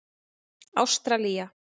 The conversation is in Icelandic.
Ástralía